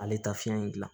Ale tɛ taa fiyɛn in gilan